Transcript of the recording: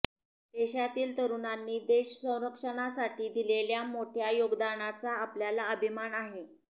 देशातील तरुणांनी देशसंरक्षणासाठी दिलेल्या मोठ्या योगदानाचा आपल्याला अभिमान आहे